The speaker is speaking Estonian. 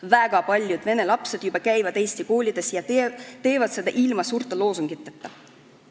Väga paljud vene lapsed juba käivad eesti koolis ja teevad seda ilma suurte loosungiteta.